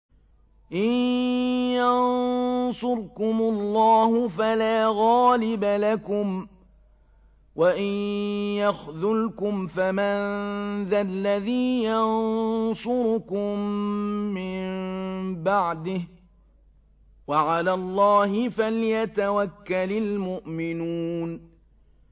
إِن يَنصُرْكُمُ اللَّهُ فَلَا غَالِبَ لَكُمْ ۖ وَإِن يَخْذُلْكُمْ فَمَن ذَا الَّذِي يَنصُرُكُم مِّن بَعْدِهِ ۗ وَعَلَى اللَّهِ فَلْيَتَوَكَّلِ الْمُؤْمِنُونَ